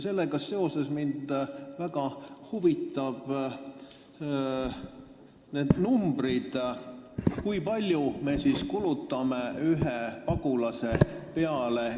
Sellega seoses mind väga huvitavad need numbrid, kui palju me Eestis kulutame ühe pagulase peale.